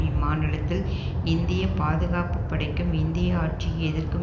இம்மாநிலத்தில் இந்திய பாதுகாப்பு படைக்கும் இந்திய ஆட்சியை எதிர்க்கும்